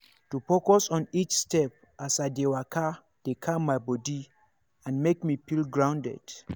to focus on each step as i dey waka dey calm my body and make me feel grounded.